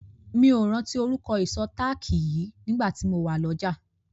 Mi ò rántí orúkọ ìṣó táàkì yìí nígbà tí mo wà lọ́jà.